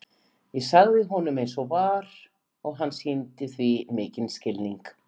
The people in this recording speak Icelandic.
Ég sagði honum eins og var og hann sýndi því mikinn skilning.